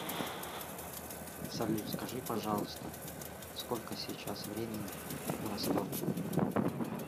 салют скажи пожалуйста сколько сейчас времени в ростове